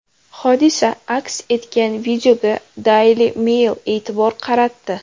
Hodisa aks etgan videoga Daily Mail e’tibor qaratdi .